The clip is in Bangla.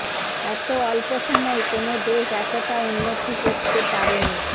এত অল্প সময়ে কোনো দেশ এতটা উন্নতি করতে পারেনি